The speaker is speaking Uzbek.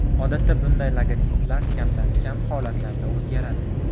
Odatda bunday logotiplar kamdan-kam holatlarda o‘zgaradi.